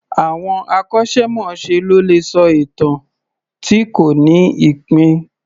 Àwọn akọ́ṣẹ́- mọṣẹ́ ló lè sọ ìtàn tí kò ní ìpín